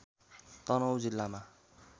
तनहुँ जिल्लामा